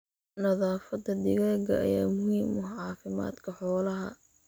Nadaafadda digaagga ayaa muhiim u ah caafimaadka xoolaha.